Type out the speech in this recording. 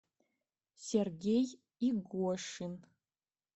сергей игошин